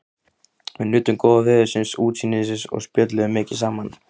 Við nutum góða veðursins, útsýnisins og spjölluðum mikið saman.